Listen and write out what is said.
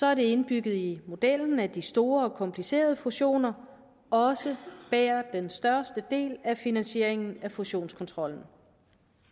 er det indbygget i modellen at de store og komplicerede fusioner også bærer den største del af finansieringen af fusionskontrollen